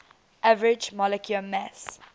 average molecular mass